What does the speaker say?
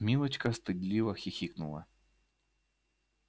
милочка стыдливо хихикнула